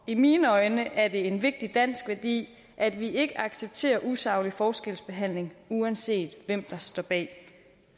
i mine øjne er det en vigtig dansk værdi at vi ikke accepterer usaglig forskelsbehandling uanset hvem der står bag